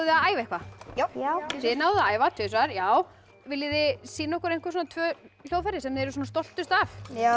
að æfa eitthvað já þið náðuð að æfa tvisvar já viljið þið sýna okkur einhver tvö hljóðfæri sem þið eruð stoltust af